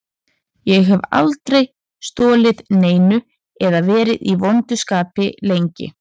Ég hef aldrei stolið neinu eða verið í vondu skapi lengi.